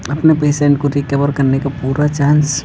अपने पेशेंट को रीकवर करने का पूरा चांस --